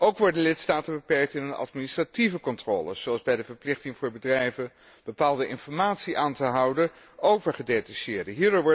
Ook worden lidstaten beperkt in hun administratieve controles, zoals bij de verplichting voor bedrijven bepaalde informatie aan te houden over gedetacheerden.